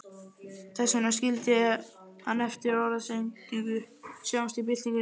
Þess vegna skildi hann eftir orðsendingu, Sjáumst í byltingunni